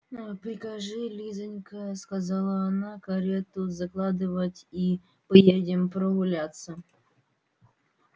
а прикажи лизанька сказала она карету закладывать и поедем прогуляться